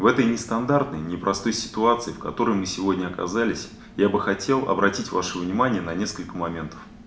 в этой нестандартной непростой ситуации в которой мы сегодня оказались я бы хотел обратить ваше внимание на несколько моментов